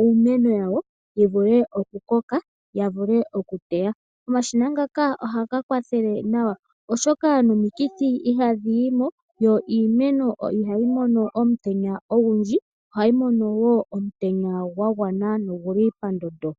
iimeno yawo yivule okukoka yo ya teye. Omashina ngaka ohaga kwathele nawa, oshoka nomikithi ihadhiyimo yo iimeno ihayi mono omutenya ogundji ohayi mono omutenya gwangwana gwo oguli pandondo.